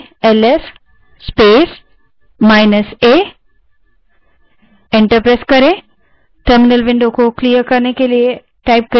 ls space minus a type करें और enter दबायें